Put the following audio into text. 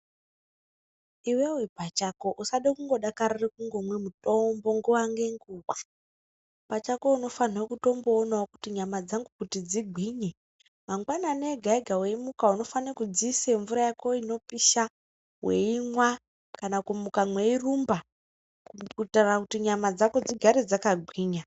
Iwewe pachako usade kungodakarira kumwa mutombo nguwa nenguwa pachako unofanirwa kutomboonawo kuti nyama dzangu kuti dzigwinye mangwanani ega ega weyimuka unofane kudziisa mvura yako inopisha weyimwa kana kumuka weyirumba kuitira kuti nyama dzako dzigare dzakagwinya.